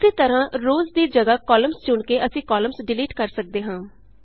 ਉਸੀ ਤਰਹਾਂ ਰੋਅਜ਼ ਦੀ ਜਗਾਹ ਕਾਲਮਜ਼ ਚੁਣ ਕੇ ਅਸੀਂ ਕਾਲਮਜ਼ ਡਿਲੀਟ ਕਰ ਸਕਦੇ ਹਾਂ